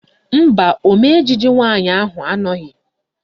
Mba, ọmee ejije nwaanyị ahụ anọghị